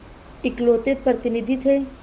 इकलौते प्रतिनिधि थे